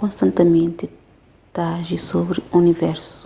konstantimenti ta aji sobri universu